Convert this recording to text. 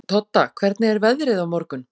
Todda, hvernig er veðrið á morgun?